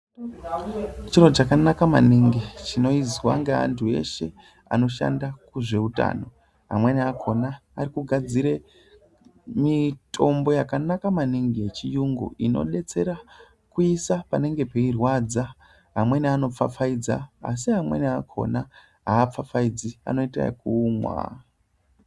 Chiro chakanaka maningi chinoizwa ngeanhu eshe anoshanda kuzveutano. Amweni akona arikugadzire mitombo yakanaka maningi yechiyungu inodetsera kuisa panenge peirwadza. Amweni anopfapfaidza asi amweni akona haapfapfaidzi, anoita yekumwa.